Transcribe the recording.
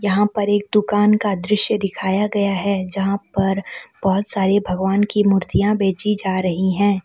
यहां पर एक दुकान का दृश्य दिखाया गया है जहां पर बहुत सारे भगवान की मूर्तियां बेची जा रही हैं।